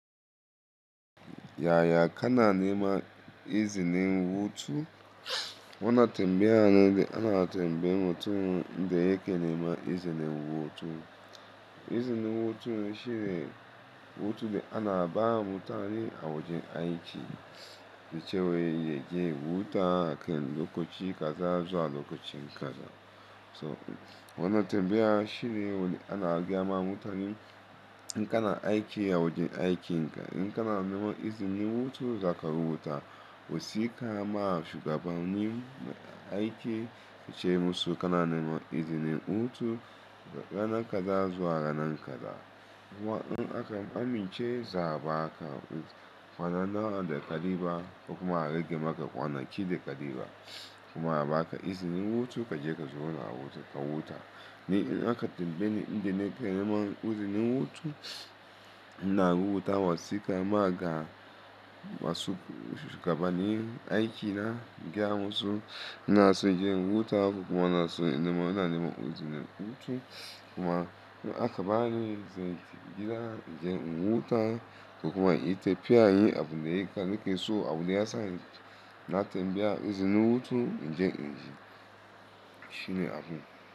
Yaya kanana nema izinin wutu? Wannan tambaya na ne da ana tambaya mutumin da yake nema izinin wutu. Izinin wutu shine hutu da ana ba mutane a wajen aiki, wucewa yake wuta akan lokaci kaza zuwa lokacin kaza. So wannan tambaya shine wanda ana gyama mutane in kana aiki a wajen aiki, in kana nema izinin hutu zaka rubuta wasika ma shugabanni aiki wuce musu kanana nema izinin wutu ranan kaza zuwa ranan kaza. Kuma in aka amince za a ba ka kwana nawa da kaliba ko kuma a rage maka kwana ki da kaliba. Kuma a ba ka izinin wutu kaje ka zo na wuce ka wuta. Ni in aka tambaye ni, ni da nake nema izinin hutu ina rubuta wasika ma ga masu shugabanni aikina in gya musu. Ina so je in wuta ko kuma ina so nema, ina nema izinin wutu. Kuma in aka bani izinin gida, in je in wuta ko kuma ita fiya yi abun da yake nake so, abun da ya sa na tambaya izinin wutu in je in ji shine abun.